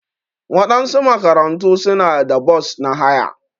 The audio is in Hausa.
Waɗansu makarantu suna da bos na haya.